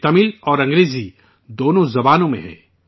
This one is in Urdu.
یہ تمل اور انگریزی دونوں زبانوں میں ہے